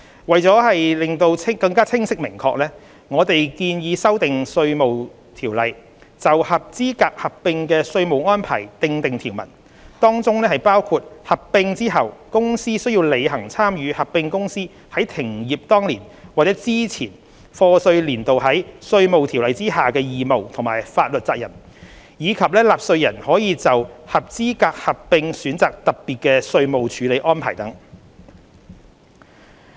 為求清晰明確，我們建議修訂《稅務條例》，就合資格合併的稅務安排訂定條文，當中包括合併後公司須履行參與合併公司在停業當年或之前課稅年度在《稅務條例》下的義務和法律責任，以及納稅人可就合資格合併選擇特別稅務處理安排等。